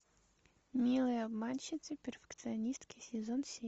милые обманщицы перфекционистки сезон семь